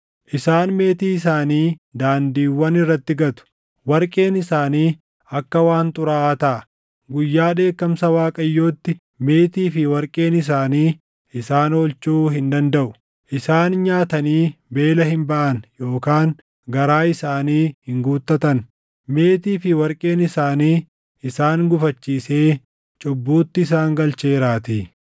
“ ‘Isaan meetii isaanii daandiiwwan irratti gatu; warqeen isaanii akka waan xuraaʼaa taʼa. Guyyaa dheekkamsa Waaqayyootti meetii fi warqeen isaanii isaan oolchuu hin dandaʼu. Isaan nyaatanii beela hin baʼan yookaan garaa isaanii hin guuttatan; meetii fi warqeen isaanii isaan gufachiisee cubbuutti isaan galcheeraatii.